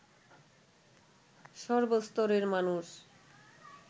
সর্বস্তরের মানুষ